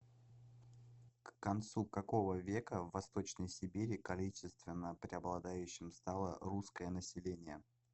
к концу какого века в восточной сибири количественно преобладающим стало русское население